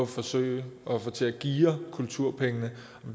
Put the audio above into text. forsøger at få til at geare kulturpengene